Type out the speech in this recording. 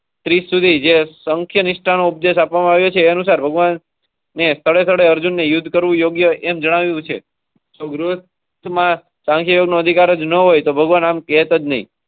આમ કેવુ યોગ્ય નથી કારણ કે. Thirty સુધીજ સંખ્યા. અર્જુનને યુદ્ધ કરવું યોગ્ય એમ જણાવ્યું છે. કાંકીયનો અધિકાર જ ન હોય તો ભગવાન.